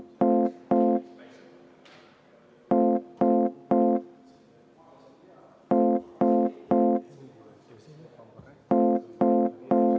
Kas keegi soovib seda hääletada?